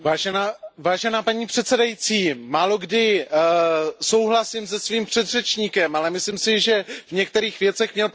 Paní předsedající, málokdy souhlasím se svým předřečníkem, ale myslím si, že v některých věcech měl prostě pravdu.